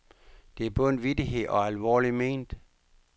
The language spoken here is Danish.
Det er både en vittighed og alvorlig ment.